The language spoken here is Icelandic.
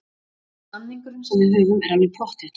Samningurinn sem við höfum er alveg pottþéttur.